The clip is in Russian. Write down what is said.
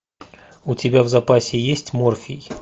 у тебя в запасе есть морфий